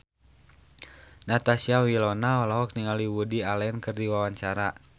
Natasha Wilona olohok ningali Woody Allen keur diwawancara